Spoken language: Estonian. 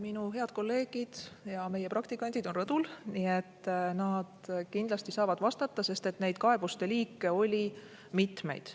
Minu head kolleegid ja meie praktikandid on rõdul, nad kindlasti saavad vastata, sest et neid kaebuste liike oli mitmeid.